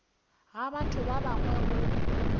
ga batho ba bangwe go